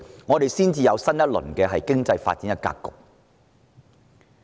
只有這樣，我們才能打開經濟發展新格局。